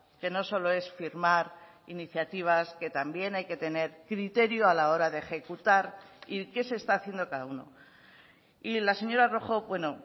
que no solo es firmar iniciativas que también hay que tener criterio a la hora de ejecutar y qué se está haciendo cada uno y la señora rojo bueno